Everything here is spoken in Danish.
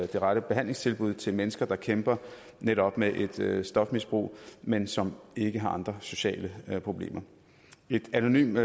de rette behandlingstilbud til mennesker der kæmper netop med med et stofmisbrug men som ikke har andre sociale problemer et anonymt